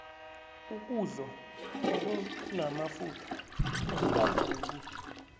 ukudlo okunamafutha akukalungi